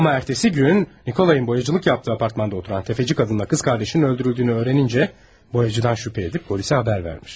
Amma ertəsi gün Nikolayın boyacılık yaptığı apartmanda oturan təfəci kadının kız kardeşinin öldürüldüyünü öğrenince boyacıdan şübhə edib polisə xəbər vermiş.